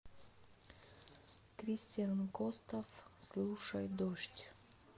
кристиан костов слушай дождь